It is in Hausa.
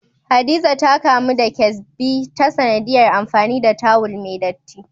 Hadiza ta kamu da kesbi ta sanadiyar amfani da tawul mai dattii.